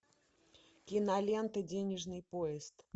кинолента денежный поезд